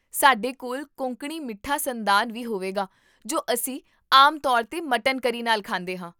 ਸਾਡੇ ਕੋਲ ਕੋਂਕਣੀ ਮਿੱਠਾ ਸੰਦਾਨ ਵੀ ਹੋਵੇਗਾ ਜੋ ਅਸੀਂ ਆਮ ਤੌਰ 'ਤੇ ਮਟਨ ਕਰੀ ਨਾਲ ਖਾਂਦੇ ਹਾਂ